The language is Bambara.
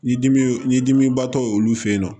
Ni dimi y'o dimiba tɔ ye olu fe yen nɔ